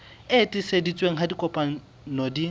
e tiiseditsweng ha ditokomane di